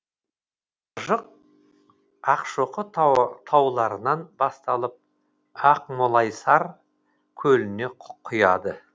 мыржық ақшоқы тауларынан басталып ақмолайсар көліне құяды